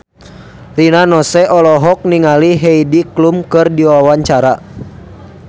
Rina Nose olohok ningali Heidi Klum keur diwawancara